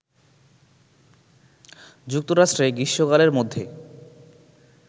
যুক্তরাষ্ট্রে গ্রীষ্মকালের মধ্যে